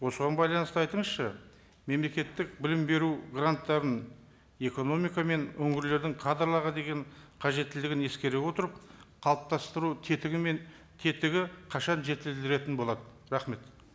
осыған байланысты айтыңызшы мемлекеттік білім беру гранттарын экономика мен өңірлердің кадрларға деген қажеттілігін ескере отырып қалыптастыру тетігі мен тетігі қашан жетілдіретін болады рахмет